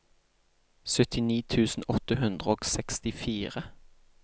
syttini tusen åtte hundre og sekstifire